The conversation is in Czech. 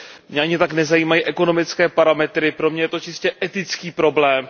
Mě ani tak nezajímají ekonomické parametry, pro mě je to čistě etický problém.